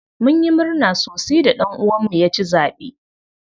Munyi murna sosi da ɗan uwan mu ya ci zaɓe.